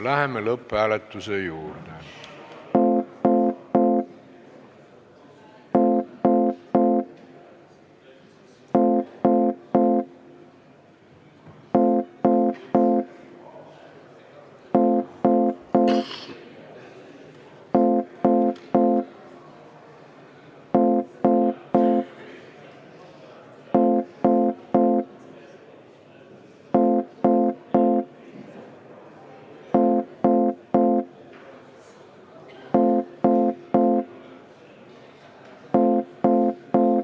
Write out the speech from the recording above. Läheme lõpphääletuse juurde.